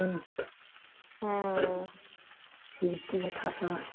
সিঁড়ির তলায় থাকা